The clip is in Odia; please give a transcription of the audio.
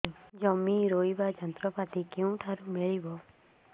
ଜମି ରୋଇବା ଯନ୍ତ୍ରପାତି କେଉଁଠାରୁ ମିଳିବ